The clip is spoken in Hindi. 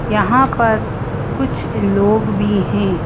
यहां पर कुछ लोग भी है।